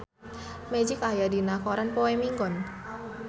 Magic aya dina koran poe Minggon